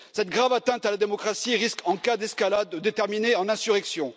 Cette grave atteinte à la démocratie risque en cas d'escalade de terminer en insurrection.